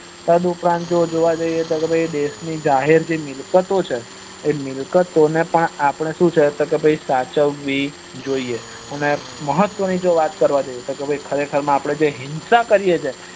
તદ ઉપરાંત આપડે જોવા જોઈએ તો જે દેશ ની જાહેર જે મિલકતો છે તે મિલકતો ને પણ આપડે શું છે કે ભાઈ સાચવી જોઈએ અને મહત્વ ની જો વાત કરવા જઈએ તો ખરે ખર માં આપડે જે હિંસા કરીએ છીએ